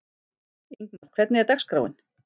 Ingmar, hvernig er dagskráin?